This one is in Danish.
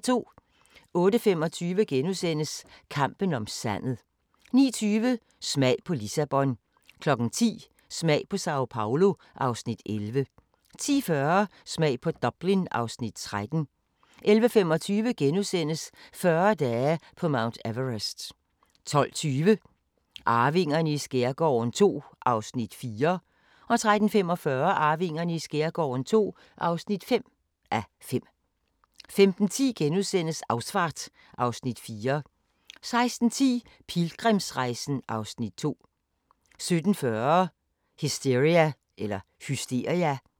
08:25: Kampen om sandet * 09:20: Smag på Lissabon 10:00: Smag på Sao Paolo (Afs. 11) 10:40: Smag på Dublin (Afs. 13) 11:25: 40 dage på Mount Everest * 12:20: Arvingerne i skærgården II (4:5) 13:45: Arvingerne i skærgården II (5:5) 15:10: Ausfahrt (Afs. 4)* 16:10: Pilgrimsrejsen (Afs. 2) 17:40: Hysteria